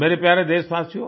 मेरे प्यारे देशवासियो